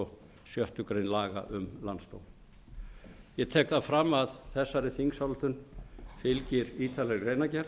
og sjöttu grein laga um landsdóm ég tek það fram að þessari þingsályktun fylgir ítarleg greinargerð